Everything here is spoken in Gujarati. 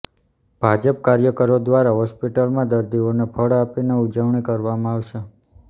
ભાજપ કાર્યકરો દ્વારા હોસ્પિટલમાં દર્દીઓને ફળ આપીને ઉજવણી કરવામાં આવશે